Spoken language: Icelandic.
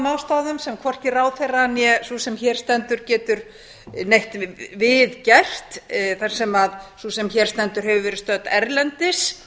ástæðum sem hvorki ráðherra né sú sem hér stendur getur neitt við gert þar sem sú sem hér stendur hefur verið stödd erlendis